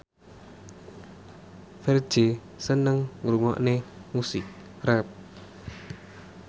Ferdge seneng ngrungokne musik rap